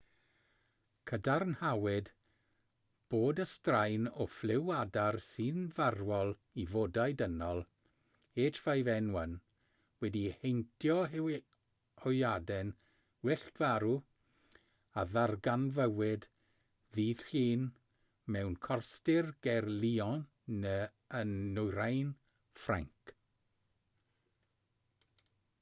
cadarnhawyd bod y straen o ffliw adar sy'n farwol i fodau dynol h5n1 wedi heintio hwyaden wyllt farw a ddarganfuwyd ddydd llun mewn corstir ger lyon yn nwyrain ffrainc